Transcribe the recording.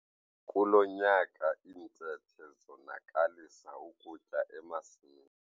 Kulo nyaka iintethe zonakalisa ukutya emasimini.